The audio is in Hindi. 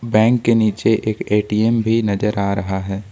बैंक के नीचे एक ए_टी_एम भी नजर आ रहा है।